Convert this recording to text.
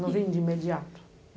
Não vim de imediato.